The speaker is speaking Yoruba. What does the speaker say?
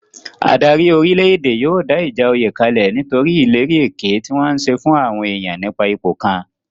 Adarí orílè-èdè yóò dá ìjà oyè kalẹ̀ nítorí ìlérí èké tí wọ́n ń ṣe fún àwọn èèyàn nípa ipò kan